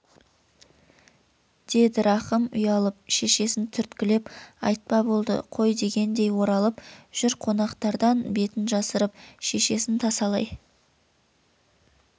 деді рахым ұялып шешесін түрткілеп айтпа болды қой дегендей оралып жүр қонақтардан бетін жасырып шешесін тасалай